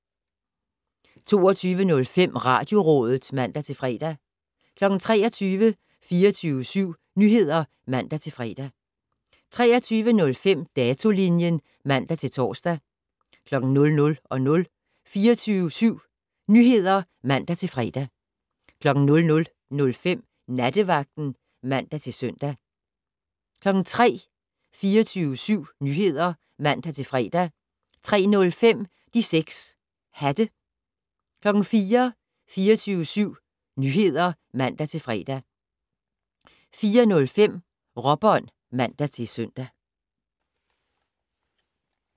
22:05: Radiorådet (man-fre) 23:00: 24syv Nyheder (man-fre) 23:05: Datolinjen (man-tor) 00:00: 24syv Nyheder (man-fre) 00:05: Nattevagten (man-søn) 03:00: 24syv Nyheder (man-fre) 03:05: De 6 Hatte 04:00: 24syv Nyheder (man-fre) 04:05: Råbånd (man-søn)